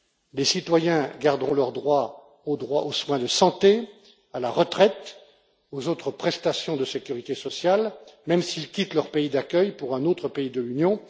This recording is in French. Les citoyens garderont leurs droits aux soins de santé, à la retraite, aux autres prestations de sécurité sociale, même s'ils quittent leur pays d'accueil pour un autre pays de l'Union.